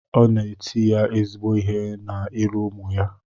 O na et ya ezigbo ihe na iru umu ya